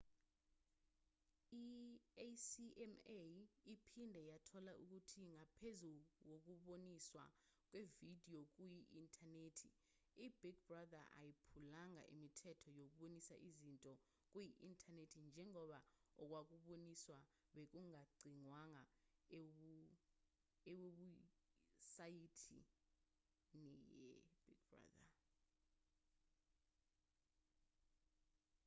i-acma iphinde yathola ukuthi ngaphezu kokuboniswa kwevidiyo kuyi-inthanethi i-big brother ayiphulanga imithetho yokubonisa izinto kuyi-inthanethi njengoba okwakuboniswa bekungagcinwanga ewebhusayithini ye-big brother